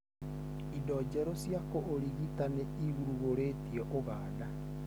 Indo njerũ cia kĩũrigitani nĩirugũrĩtio ũganda